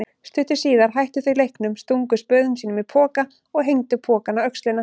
Stuttu síðar hættu þau leiknum, stungu spöðum sínum í poka og hengdu pokann á öxlina.